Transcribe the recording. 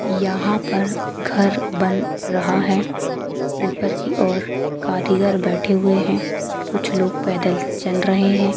यहाँ पर घर बन रहा है ऊपर की और कारीगर बैठे हुए है कुछ लोग पैदल चल रहे है।